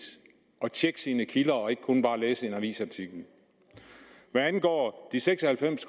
at tjekke sine kilder og ikke kun læse en avisartikel hvad angår de seks og halvfems